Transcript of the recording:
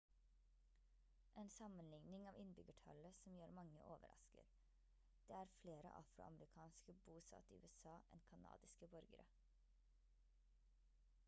en sammenligning av innbyggertallet som gjør mange overrasket det er flere afroamerikanere bosatt i usa enn kanadiske borgere